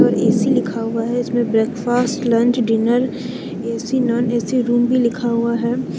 और ए_सी लिखा हुआ है इसमें breakfast lunch dinner AC non AC room भी लिखा हुआ है।